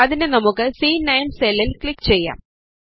അതിന് നമുക്ക് സി9 സെല്ലിൽ ക്ലിക് ചെയ്യാം